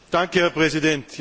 Herr Präsident!